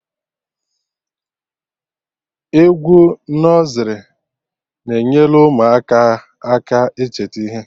Egwu nọzrị na-enyelụ ụmụaka aka ịcheta ihe